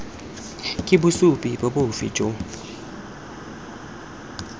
ke bosupi bofe jo bo